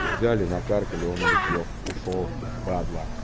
взяли накаркали он улетел ушёл падла